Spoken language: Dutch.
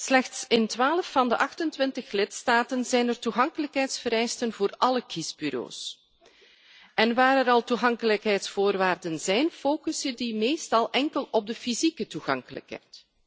Slechts in 12 van de 28 lidstaten zijn er toegankelijkheidsvereisten voor alle kiesbureaus en waar er al toegankelijkheidsvoorwaarden zijn, focussen die meestal enkel op de fysieke toegankelijkheid.